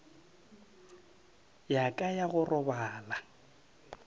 ya ka ya go robala